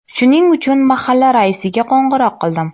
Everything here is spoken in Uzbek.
Shuning uchun mahalla raisiga qo‘ng‘iroq qildim.